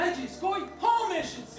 Nə qız qoy, hamı eşitsin.